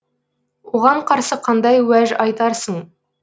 оған қарсы қандай уәж айтарсың